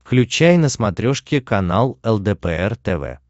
включай на смотрешке канал лдпр тв